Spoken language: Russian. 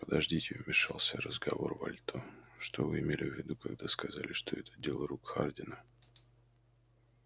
подождите вмешался в разговор вальто что вы имели в виду когда сказали что это дело рук хардина